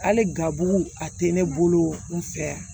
Hali gabu a tɛ ne bolo n fɛ yan